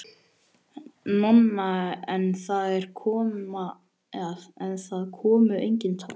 Nonna, en það komu engin tár.